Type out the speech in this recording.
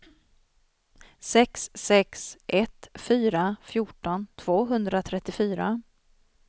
sex sex ett fyra fjorton tvåhundratrettiofyra